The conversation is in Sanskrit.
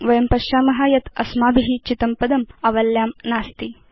वयं पश्याम यत् अस्माभि चितं पदम् आवल्यां नास्ति